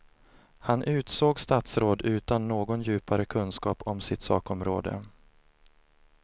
Han utsåg statsråd utan någon djupare kunskap om sitt sakområde.